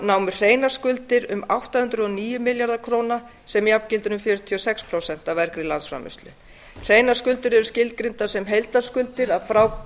námu hreinar skuldir um átta hundruð og níu milljarða króna sem jafngildi um fjörutíu og sex prósent af af hreinar skuldir eru skilgreindar sem heildarskuldir að